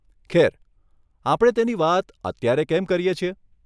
ખેર, આપણે તેની વાત અત્યારે કેમ કરીએ છીએ?